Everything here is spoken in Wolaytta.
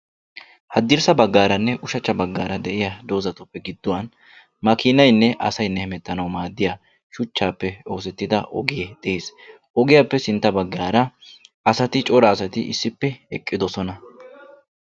Hadrssa baggaaranne ushshachcha baggaara de'iyaa doozatuppe gidduwan makkiinaynne asaynne hemettanawu maaddiya shuchchaappe gita ogee dees ogiyappe sintta baggaara asati cora asati issippe eqqiddossona.